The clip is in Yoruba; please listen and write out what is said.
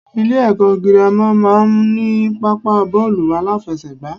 Ilé èkó girama má a n ní pápá bóòlù aláfesègbà